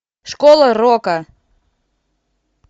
школа рока